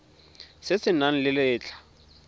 se se nang le letlha